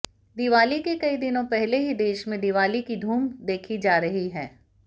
दिवाली के कई दिनों पहले ही देश में दिवाली की धूम देखी जा रही है